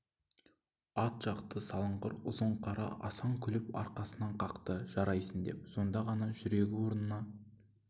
ат жақты сылыңғыр ұзын қара асан күліп аркасынан қақты жарайсын деп сонда ғана жүрегі орнына